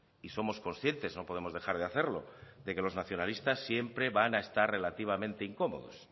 y somos conscientes no podemos dejar de hacerlo de que los nacionalistas siempre van a estar relativamente incómodos